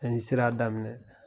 An ye sira daminɛ